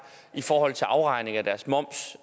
i forhold til afregning af deres moms